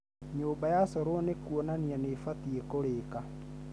Nyũmba ya corwo nĩ kuonania nĩ ĩbatiĩ kũrĩka